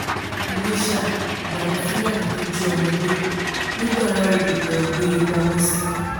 iléṣà làwọn fúlàní tó jí ọmọ gbé nìgbára-odò lóò gbé e pamọ́ sí